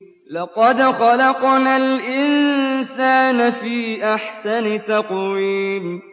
لَقَدْ خَلَقْنَا الْإِنسَانَ فِي أَحْسَنِ تَقْوِيمٍ